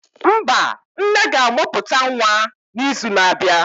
mba, nne ga-amụpụta Nwa n'izu na-abịa.